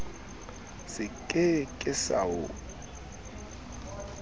se ke ke sa o